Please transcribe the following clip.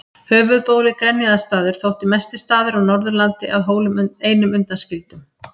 Höfuðbólið Grenjaðarstaður þótti mestur staður á Norðurlandi að Hólum einum undanskildum.